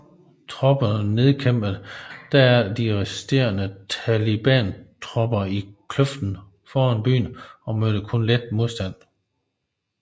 Tropperne nedkæmpede derefter de resterende talibantropper i kløften foran byen og mødte kun let modstand